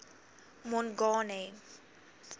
mongane